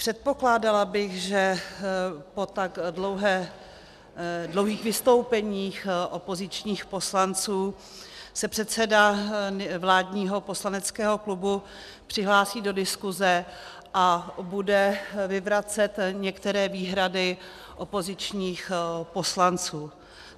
Předpokládala bych, že po tak dlouhých vystoupeních opozičních poslanců se předseda vládního poslaneckého klubu přihlásí do diskuze a bude vyvracet některé výhrady opozičních poslanců.